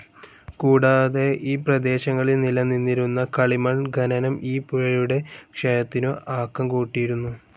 കൂടാതെ ഈ പ്രദേശങ്ങളിൽ നിലനിന്നിരുന്ന കളിമൺ ഖനനം ഈ പുഴയുടെ ക്ഷയത്തിനു ആക്കംകൂട്ടിയിരുന്നു.